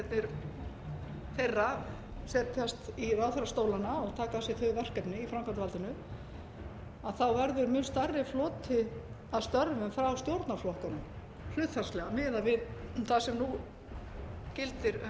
þingmennirnir þeirra setjast í ráðherrastólana og taka að sér þau verkefni í framkvæmdarvaldinu þá verður mun stærri floti að störfum frá stjórnarflokkunum hlutfallslega miðað við það sem nú gildir